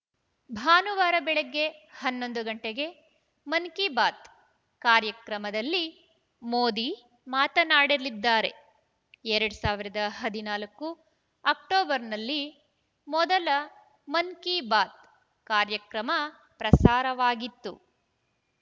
ಭಾನುವಾರ ಬೆಳಗ್ಗೆ ಹನ್ನೊಂದು ಗಂಟೆಗೆ ಮನ್‌ ಕೀ ಬಾತ್‌ ಕಾರ್ಯಕ್ರಮದಲ್ಲಿ ಮೋದಿ ಮಾತನಾಡಲಿದ್ದಾರೆ ಎರಡ್ ಸಾವಿರದ ಹದಿನಾಲ್ಕು ಅಕ್ಟೋಬರ್‌ನಲ್ಲಿ ಮೊದಲ ಮನ್‌ ಕೀ ಬಾತ್‌ ಕಾರ್ಯಕ್ರಮ ಪ್ರಸಾರವಾಗಿತ್ತು